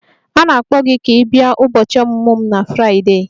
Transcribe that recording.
A na-akpọ gị ka ị bịa ụbọchị ọmụmụ m na Fraịdee.